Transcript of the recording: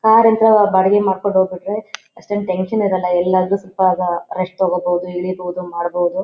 Car ಬಾಡಿಗೆ ಮಾಡಕೊಂಡ ಹೋಗಬಿಟ್ರೆ ಅಷ್ಟೇನೂ ಟೆನ್ಶನ್ ಇರಲ್ಲಾ ಎಲಾದ್ರು ಸಿಕ್ದಾಗ ರೆಸ್ಟ್ ತಕೋಬಹುದು ಇಳಿಬಹುದು ಮಾಡಬೊದು.